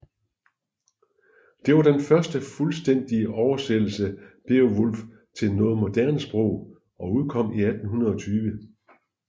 Det var den første fuldstændige oversættelse af Beowulf til noget moderne sprog og udkom i 1820